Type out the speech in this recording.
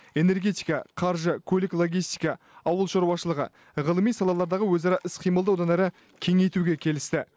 энергетика қаржы көлік логистика ауыл шаруашылығы ғылыми салалардағы өзара іс қимылды одан әрі кеңейтуге келісті